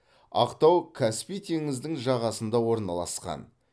ақтау каспий теңіздің жағасында орналысқан